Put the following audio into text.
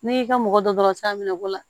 N'i y'i ka mɔgɔ dɔ dɔrɔ san minɛnko la